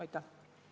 Aitäh!